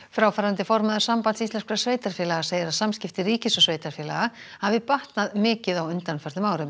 fráfarandi formaður Sambands íslenskra sveitarfélaga segir að samskipti ríkis og sveitarfélaga hafi batnað mikið á undanförnum árum